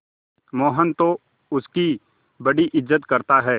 मोहन तो उसकी बड़ी इज्जत करता है